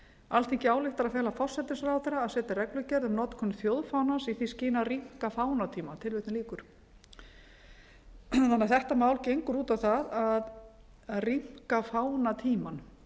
alþingi ályktar að fela forsætisráðherra að setja reglugerð um notkun þjóðfánans í því skyni að rýmka fánatíma þetta mál gengur út á það að rýmka fánatímann